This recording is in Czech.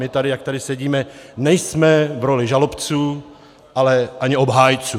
My tady, jak tady sedíme, nejsme v roli žalobců, ale ani obhájců.